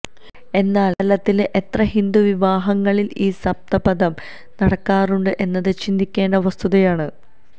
എന്നാലിന്ന് കേരളത്തിലെ എത്ര ഹിന്ദുവിവാഹങ്ങളില് ഈ സപ്തപദി നടക്കാറുണ്ട് എന്നത് ചിന്തിക്കേണ്ട വസ്തുതയാണ്